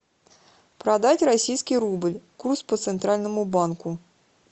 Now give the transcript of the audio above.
продать российский рубль курс по центральному банку